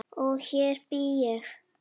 Og hér bý ég!